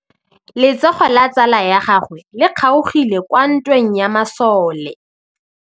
Letsôgô la tsala ya gagwe le kgaogile kwa ntweng ya masole.